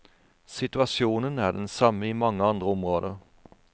Situasjonen er den samme i mange andre områder.